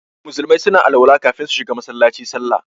Musulmai suna alwala kafin su shiga Masallaci sallah.